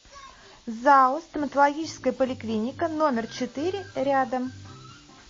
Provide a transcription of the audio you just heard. зао стоматологическая поликлиника номер четыре рядом